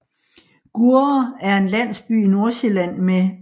Gurre er en landsby i Nordsjælland med